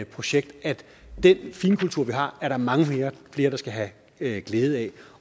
projekt at den finkultur vi har er der mange flere der skal have glæde glæde af